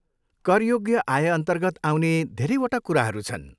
करयोग्य आयअन्तर्गत आउने धेरैवटा कुराहरू छन्।